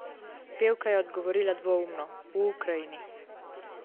Pevka je odgovorila dvoumno: 'V Ukrajini.